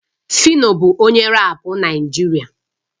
Phyno bụ onye rap Naịjirịa